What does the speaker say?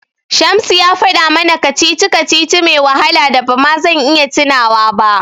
Shamsu ya faɗa mana kacici-kacici mai wahala da ba ma zan iya tunawa ba.